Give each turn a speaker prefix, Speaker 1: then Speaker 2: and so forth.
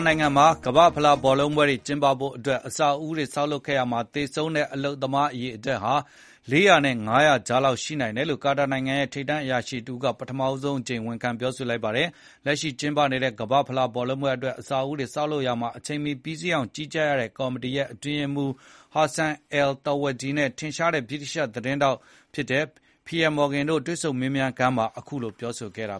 Speaker 1: နိုင်ငံမှာ ကမ္ဘာ့ဖလားဘောလုံးပွဲတွေ ကျင်းပဖို့အတွက် အဆောက်အဦးတွေ ဆောက်လုပ်ခဲ့ရာမှာ သေဆုံးတဲ့ အလုပ်သမား အရေအတွက်ဟာ ၄၀၀ နဲ့ ၅၀၀ ကြား လောက်ရှိတယ်လို့ ကာတာနိုင်ငံရဲ့ ထိပ်တန်းအရာရှိတဦးက ပထမဆုံးအကြိမ် ဝန်ခံ ပြောဆိုလိုက်ပါတယ်။ လက်ရှိကျင်းပနေတဲ့ ကမ္ဘာ့ဖလားဘောလုံးပွဲအတွက် အဆောက်အဦးတွေ ဆောက်လုပ်ရာမှာ အချိန်မီပြီးစီးအောင် ကြီးကြပ် ရတဲ့ ကော်မတီရဲ့အတွင်းရေးမှူး Hassan al-Thawadi နဲ့ ထင်ရှားတဲ့ ဗြိတိသျှ သတင်းထောက်တဦးဖြစ်တဲ့ Piers Morgan တို့ မေးမြန်းခန်းမှာ
Speaker 2: အတွင်းရေးမှူး al Thawadi ကအခုလို ပြောဆိုခဲ့တာ